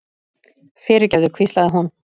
fyrirgefðu, hvíslaði hún.